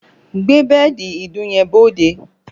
Gbé bẹ́ẹ̀dì ìdun yẹn bóóde!